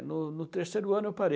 no no terceiro ano eu parei.